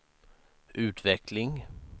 utveckling